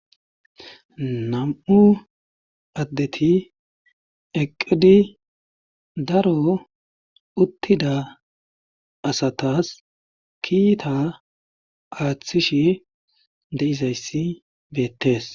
Nam7u adeti eqqidi daro uttida asatas kiita aathishe de7izayssi beettes.